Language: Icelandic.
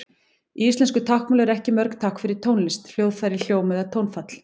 Í íslensku táknmáli eru ekki mörg tákn fyrir tónlist, hljóðfæri, hljóm eða tónfall.